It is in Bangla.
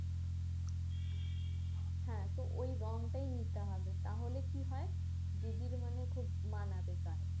হ্যাঁ তো ওই রংটাই নিতে হবে তাহলে কি হয় দিদির মানে খুব মানাবে গায়ে